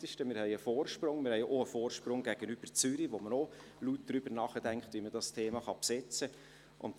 Wir haben einen Vorsprung, auch gegenüber Zürich, wo man auch laut darüber nachdenkt, wie man das Thema besetzen kann.